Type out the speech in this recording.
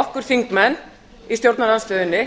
okkur þingmenn í stjórnarandstöðunni